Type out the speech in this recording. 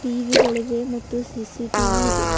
EV ಗಳಿವೆ ಮತ್ತು CCTV ಇದೆ.